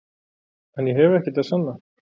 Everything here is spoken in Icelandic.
En ég hef ekkert að sanna.